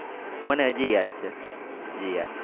હજી યાદ છે.